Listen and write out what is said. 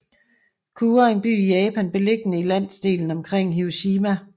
Kure er en by i Japan beliggende i landsdelen omkring Hiroshima